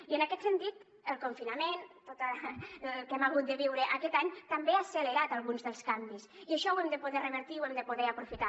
i en aquest sentit el confinament tot el que hem hagut de viure aquest any també ha accelerat alguns dels canvis i això ho hem de poder revertir i ho hem de poder aprofitar